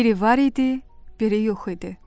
Peri var idi, Peri yox idi.